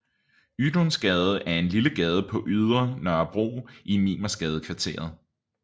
Ydunsgade er en lille gade på Ydre Nørrebro i Mimersgadekvarteret